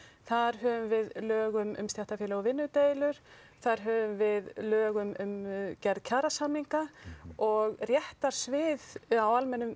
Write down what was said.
þar höfum við lög um stéttarfélög og vinnudeilur þar höfum við lög um gerð kjarasamninga og réttarsvið á almennum